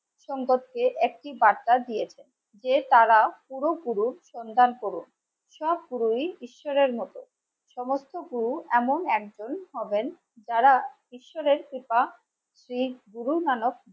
সম্পদকে একটি বার্তা দিয়েছে যে তারা পুরোপুরি সন্ধান করুন সব পুরোহিত ঈশ্বরের মতো সমস্ত গুরু এমন একজন হবেন যারা ঈশ্বরের কৃপা